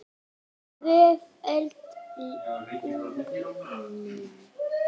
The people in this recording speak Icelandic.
Tvöföld launin mín.